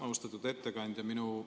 Austatud ettekandja!